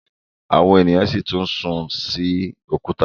àwọn ènìyàn si tún sìn òkúta